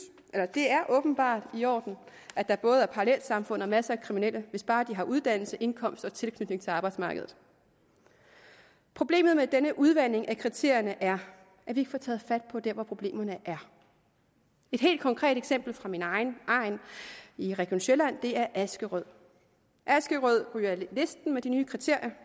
det er åbenbart i orden at der både er parallelsamfund og masser af kriminelle hvis bare de har uddannelse indkomst og tilknytning til arbejdsmarkedet problemet med denne udvanding af kriterierne er at vi ikke får taget fat der hvor problemerne er et helt konkret eksempel fra min egen egn i region sjælland er askerød askerød ryger med de nye kriterier